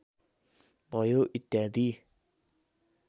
भयो इत्यादि